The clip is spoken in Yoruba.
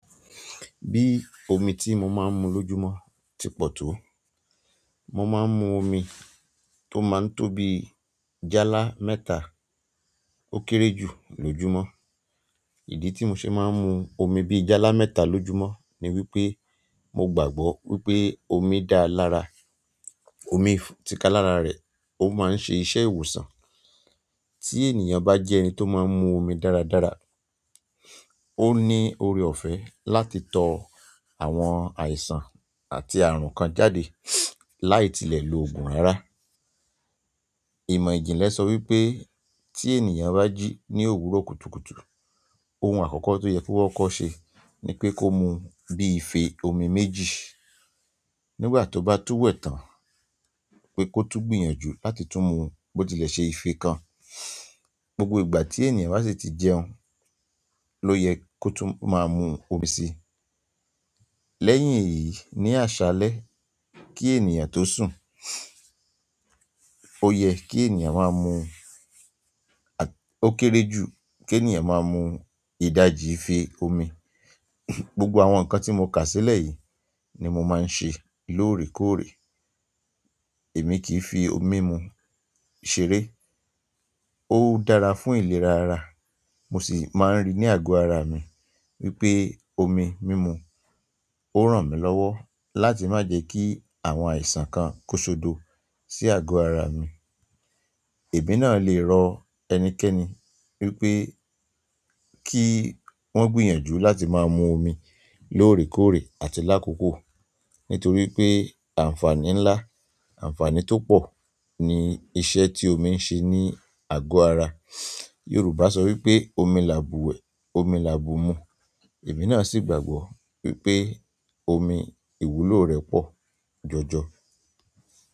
Bí omi tí mo máa ń mu lọ́júmọ́ ti pọ̀ tó. Mo máa ń mu omi tó máa ń tóbi jálá mẹ́ta ó kéré jù lọ́júmọ́. Idi ti mo fi maa n mu omi bi jala mẹ́ta lójúmọ́ ni wípé mo gbàgbọ́ pe omi da lára, omi tikalara re o maa n se iṣẹ́ ìwòsàn. Tí ènìyàn bá jẹ́ ẹni tó máa ń mu omi dáradára, ó ní ọrẹ ọ̀fẹ́ láti tọ àwọn àìsàn àti ààrùn kan jáde láì tilẹ̀ lo òògùn ara. Ìmọ̀ ìjìnlẹ̀ sọ wípé tí ènìyàn bá jí ní òwúrọ̀ kùtùkùtù, ohun àkọ́kọ́ tó yẹ kó wọ́kọ̀ ṣe ni pé kó mu bí i ìfẹ́ omi méjì. Nígbà tó bá túwẹ̀ẹ́ tán, pé kó tú gbìyànjú láti tún mu bó tilẹ̀ ṣe ìfẹ́ kan. Gbogbo ìgbà tí ènìyàn bá sì ti jẹun ló yẹ kó tún máa mu omi sí. Lẹ́yìn èyí, ní àṣálẹ́ kí ènìyàn tó sùn, ó yẹ kí ènìyàn máa mu-- ó kéré jù kí ènìyàn máa mu ìdajì ìfẹ́ omi. Gbogbo àwọn nǹkan tí mo kà sílẹ̀ yìí ni mo máa ń ṣe lóòrèkóòrè. Èmi kì í fi omi mimu ṣeré. Ó dára fún ìlera ara. Mo sì máa ń rí ní àgọ́ ara mi wípé omi mímu ó ràn mí lọ́wọ́ láti má jẹ kí àwọn àìsàn kan kósodo sí àgọ́ ara mi. Èmi náà lè rọ ẹnikẹ́ni wípé kí wọ́n gbìyànjú láti máa mu omi lóòrèkóòrè àti lákòókò nítorí pé àǹfààní ńlá, àǹfààní tó pọ̀ ni iṣẹ́ tí omi ń ṣe ní àgọ́ ara. Yorùbá sọ wípé omi là búwẹ̀, omi là búmu. Èmi náà sì gbàgbọ́ wípé omi ìwúlò rẹ̀ pọ̀ jọ̀jọ̀.